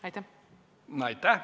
Aitäh!